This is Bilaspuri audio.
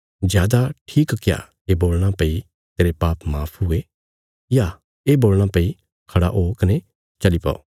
जादा ठीक क्या ये बोलणा भई तेरे पाप माफ हुये या ये बोलणा भई खड़ा ओ कने चली पौ